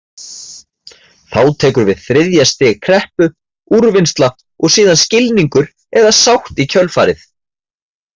Þá tekur við þriðja stig kreppu, úrvinnsla og síðan skilningur eða sátt í kjölfarið.